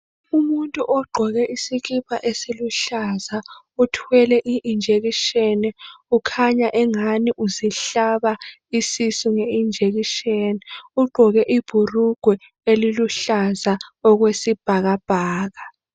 Umuntu ogqoke isikipa esiluhlaza uthwele iinjection ukhanya engani uzihlaba isisu ngeinjection ugqoke ibhurugwe eliluhlaza okwesibhakabhaka.